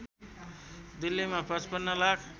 दिल्लीमा ५५ लाख